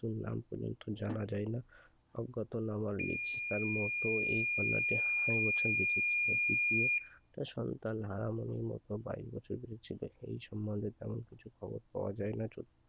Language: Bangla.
তার নাম পর্যন্ত জানা যাই না তার মত কন্যা টি আড়াই বছর বেঁচে ছিল কি সন্তান হারানো সন্তান টি বাইশ বছর হলো তেমন কিছু খবর পাওয়া যায়না সন্তানটির নাম পর্যন্ত জানা যায়না